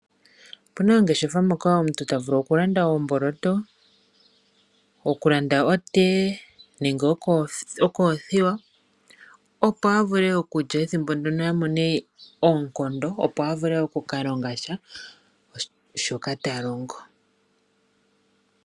Opuna oongeshefa moka omuntu tavulu okulanda oomboloto, okulanda oteye nenge okulanda okoothiwa opo a vule okulya ethimbo ndyono ye a mone oonkondo, opo a vule okukalongasha shoka talongo.